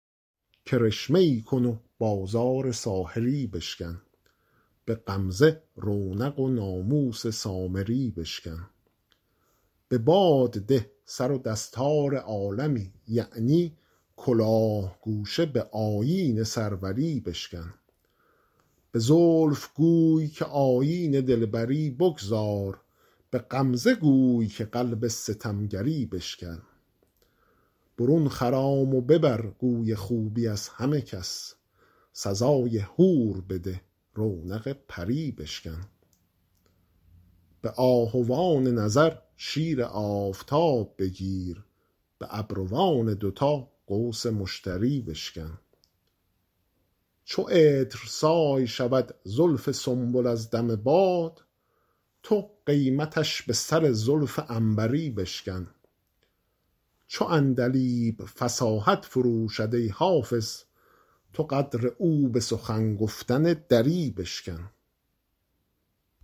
کرشمه ای کن و بازار ساحری بشکن به غمزه رونق و ناموس سامری بشکن به باد ده سر و دستار عالمی یعنی کلاه گوشه به آیین سروری بشکن به زلف گوی که آیین دلبری بگذار به غمزه گوی که قلب ستمگری بشکن برون خرام و ببر گوی خوبی از همه کس سزای حور بده رونق پری بشکن به آهوان نظر شیر آفتاب بگیر به ابروان دوتا قوس مشتری بشکن چو عطرسای شود زلف سنبل از دم باد تو قیمتش به سر زلف عنبری بشکن چو عندلیب فصاحت فروشد ای حافظ تو قدر او به سخن گفتن دری بشکن